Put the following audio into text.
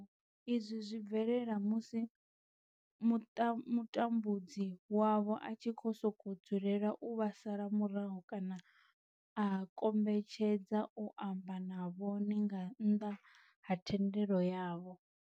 Izwi zwi bvelela musi mutambudzi wavho a tshi sokou dzulela u vha sala murahu kana a kombetshedza u amba na vhone nga nnḓa ha thendelo yavho.